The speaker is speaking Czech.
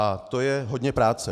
A to je hodně práce.